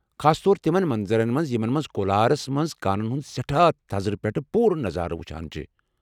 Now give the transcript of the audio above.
خاص طور تِمن منظرن منز یِمن منز کولارس منٛز کانن ہُنٛد سیٹھاہ تھزرٕ پیٹھہٕ پوٗرٕ نظارٕ وُچھان چھِ ۔